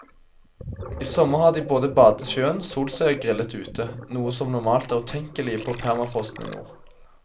I sommer har de både badet i sjøen, solt seg og grillet ute, noe som normalt er utenkelig på permafrosten i nord.